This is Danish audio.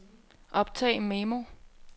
optag memo